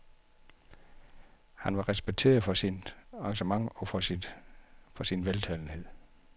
Han var respekteret for sit engagement og for sin veltalenhed.